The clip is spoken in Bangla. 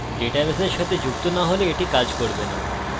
ডাটাবেসের সাথে যুক্ত না হলে এটি কাজ করবে না